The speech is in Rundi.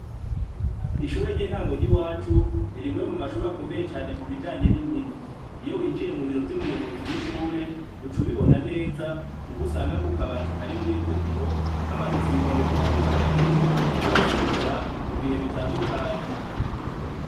Ishure ry'intango ry'iwacu, ni rimwe mumashure akomeye cane mubijanye n'inkino. Iyo winjiye mu biro vy'umuyobozi w'ishure, uca ubibona neza, kuko usanga ku kabati kari muri ivyo biro, hamanitse ibikombe bitandukanye abanyeshure bagiye baratsindira, mu bihe bitandukanye.